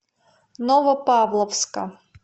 новопавловска